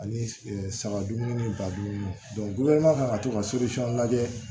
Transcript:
Ani saga dumuni ba dumuni ka to ka lajɛ